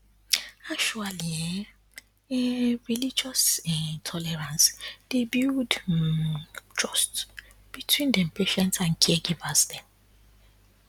actually um religious um tolerance dey builds um trust between dem patients and caregivers dem